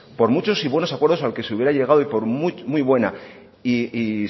por muchos y buenos acuerdos al que se hubiera llegado y por muy buena y